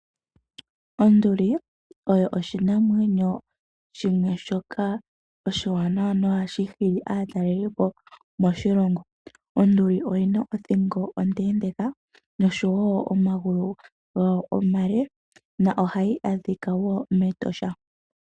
Onduli oyo odhinamwenyo shimwe shoka oshiwanawa na ohashi hili aatalelipo moshilongo. Onduli oyina othingo ondendeka nosho wo omagulu omale, na ohayi adhika wo mEtosha.